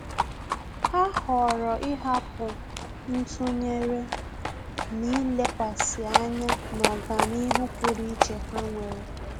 Há họ̀ọ̀rọ̀ ị́hàpụ́ ntụnyere n’ílékwàsí ányá na ọ́gànihu pụ́rụ́ iche ha nwere.